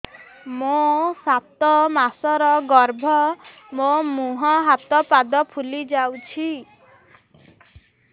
ମୋ ସାତ ମାସର ଗର୍ଭ ମୋ ମୁହଁ ହାତ ପାଦ ଫୁଲି ଯାଉଛି